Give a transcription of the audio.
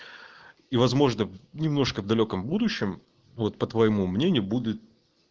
и возможно немножко в далёком будущем вот по твоему мнению будет